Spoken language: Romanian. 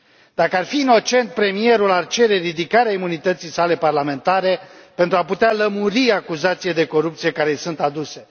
Dacă ar fi inocent, Premierul ar cere ridicarea imunității sale parlamentare pentru a putea lămuri acuzațiile de corupție care îi sunt aduse.